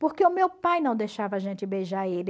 Porque o meu pai não deixava a gente beijar ele.